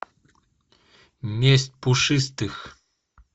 месть пушистых